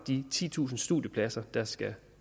de titusind studiepladser der skal